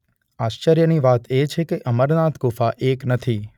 આશ્ચર્યની વાત એ છે કે અમરનાથ ગુફા એક નથી.